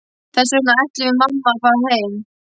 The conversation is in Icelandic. Þess vegna ætlum við mamma að fara heim.